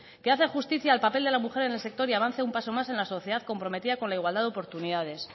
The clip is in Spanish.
que hace justicia al papel de la mujer en el sector y avanza un paso más en la sociedad comprometida con la igualdad de oportunidades